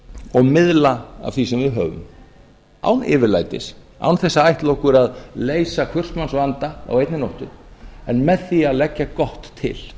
og miðla af því sem við höfum án yfirlætis án þess að ætla okkur að leysa hvers manns vanda á einni nóttu en með því að leggja gott til